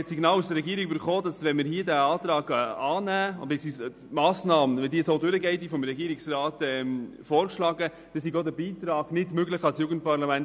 Ich habe von der Regierung das Signal erhalten, der Beitrag an das Jugendparlament wäre nicht mehr möglich, sollte es zur Annahme des Antrags kommen und die Massnahme, wie vom Regierungsrat vorgeschlagen, durchgehen.